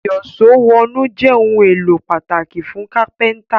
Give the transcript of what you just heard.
Ìyíṣòó wọnú jé òun èló pàtàkì fún kápẹ́ńtà